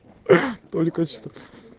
только качеств